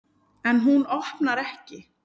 En hún opnar ekki.